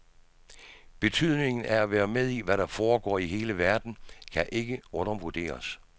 Betydningen af at være med i, hvad der foregår i hele verden, kan ikke undervurderes.